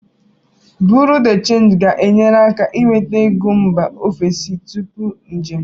Buru de Change ga-enyere aka inweta ego mba ofesi tupu njem.